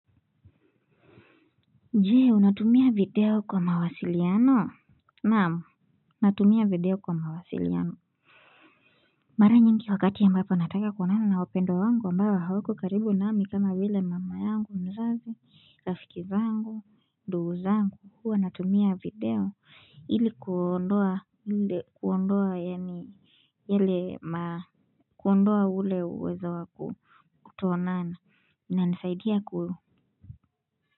Je, unatumia video kwa mawasiliano? Naam, natumia video kwa mawasiliano. Mara nyingi wakati ambapo nataka kuonana na wapendwa wangu ambayo hawako karibu nami kama vile mama yangu mzazi, rafiki zangu, ndugu zangu, huwa natumia video ile kuondoa ile kuondoa yani, yale ma, kuondoa ule uwezo wa kutoonana. Inanisaidia ku,